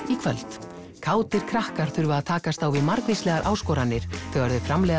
í kvöld kátir krakkar þurfa að takast á við margvíslegar áskoranir þegar þau framleiða